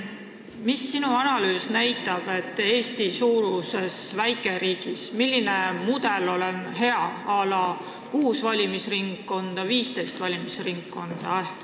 Mida sinu analüüs näitab, milline mudel on hea Eesti-suuruses väikeriigis, kas näiteks kuus või 15 valimisringkonda?